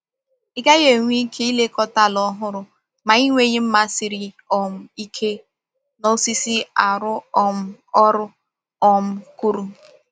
Ị gaghị enwe ike ilekọta ala ọhụrụ ma ị nweghị mma siri um ike na osisi arụ um ọrụ um kwụụrụ.